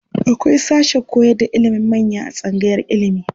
Akwai sashen koyarda ilimin manya a tsangayar ilimi.